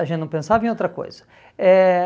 A gente não pensava em outra coisa. Eh